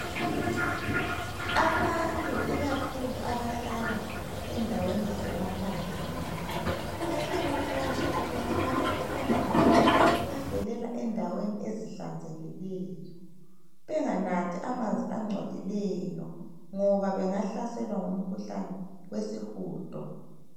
Abantu ikakhulu abahlala endaweni zemaphandleni , bayakhuthazwa ukuthi banathe amanzi avelela endaweni ezihlanzekileyo. Benganathi amanzi angcolileyo ngoba bengahlaselwa ngomkhuhlane wesihudo.